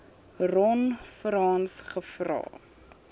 ron frans gevra